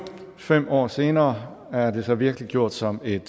fem år senere er det så virkeliggjort som et